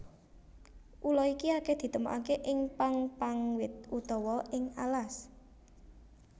Ula iki akeh ditemokake ing pang pang wit utawa ing alas